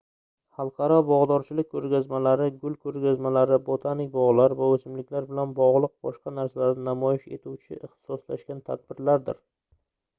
xalqaro bogʻdorchilik koʻrgazmalari gul koʻrgazmalari botanik bogʻlar va oʻsimliklar bilan bogʻliq boshqa narsalarni namoyish etuvchi ixtisoslashgan tadbirlardir